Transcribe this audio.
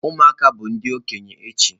Ụmụaka bụ ndị okenye echi.